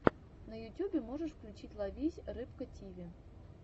на ютюбе можешь включить ловись рыбка тиви